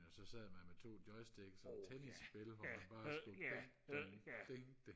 og så sad man med to joystik sådan et tennisspil hvor man bare skulle ding ding ding ding